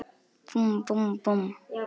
Búmm, búmm, búmm.